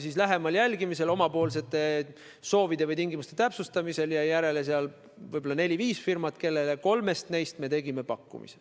Ja lähemal jälgimisel, omapoolsete soovide või tingimuste täpsustamisel jäi järele võib-olla neli-viis firmat, kellest kolmele me tegime ka pakkumise.